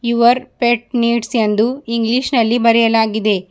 Your pet needs ಎಂದು English ನಲ್ಲಿ ಬರೆಯಲಾಗಿದೆ.